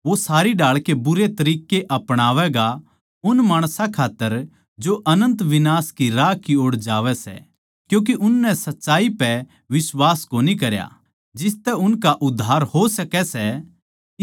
वो सारी ढाळ के बुरे तरिक्कें अपणावैगा उन माणसां खात्तर जो अनन्त विनाश के राह की ओड़ जावै सै क्यूँके उननै सच्चाई पै बिश्वास कोनी करया जिसतै उनका उद्धार हों सकै सै